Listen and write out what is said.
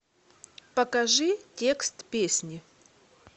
покажи текст песни